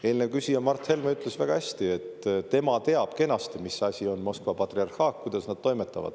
Eelmine küsija Mart Helme ütles väga hästi, et tema teab kenasti, mis asi on Moskva patriarhaat, kuidas nad toimetavad.